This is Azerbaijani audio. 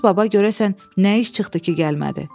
Firuz baba görəsən nə iş çıxdı ki, gəlmədi?